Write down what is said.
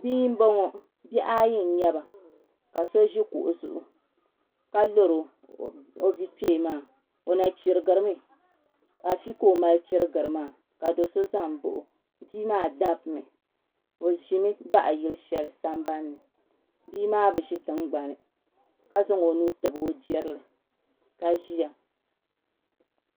Bia n boŋo bihi ayi n nyɛba ka so ʒi kuɣu zuɣu ka lori o bia kpee maa o na chirigiri mi afi ka o mali churigiri maa ka do so ʒɛ n baɣa o bia maa dabimi bi ʒimi baɣa yili shɛli sambanni bia maa bi ʒi tingbani ka zaŋ o nuu tabi o jirili ka ʒiya